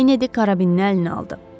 Kenedi karabini əlinə aldı.